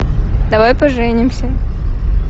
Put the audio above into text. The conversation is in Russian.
давай поженимся